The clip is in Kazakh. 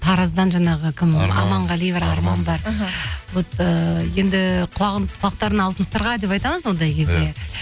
тараздан жаңағы кім аманғали бар арман бар іхі вот ыыы енді құлақтарына алтын сырға деп айтамыз ондай кезде